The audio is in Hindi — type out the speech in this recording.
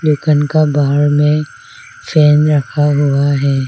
दुकान का बाहर में फैन रखा हुआ है।